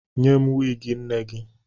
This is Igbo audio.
Nye m wiigi nne gị!